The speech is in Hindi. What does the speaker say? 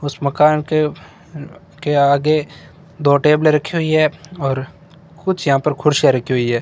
उस मकान के के आगे दो टेबले रखी हुई है और कुछ यहां पर कुर्सियां रखी हुई है।